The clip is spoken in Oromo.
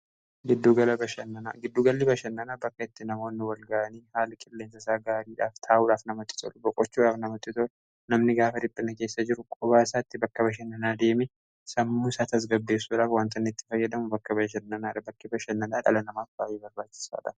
giddugalli bashannanaa bakka itti namoonnu walga'anii haali qilleensaisaa gaariidhaaf taa'ulhaaf namatitol boqochauaaf namatito namni gaafa ripinajeessa jiru qubaa isaatti bakka bashan nanaadeemi sammuu saa tasgabdeefsudhaaf wantan itti fayyadamu bakka basshan nanaara bakki bashannanaa dhala namaa baay'ee barbaachisaadha